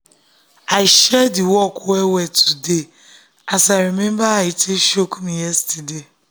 i share the work well well today as i remember how e take um choke me yesterday.